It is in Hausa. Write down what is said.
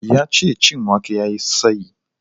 Yace cin wake yayi tsayi